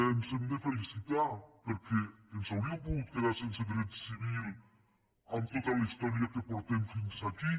ens n’hem de felicitar perquè ens hauríem pogut quedar sense dret civil amb tota la història que portem fins aquí